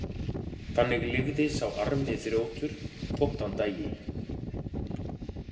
Þannig lifði sá armi þrjótur þótt hann dæi.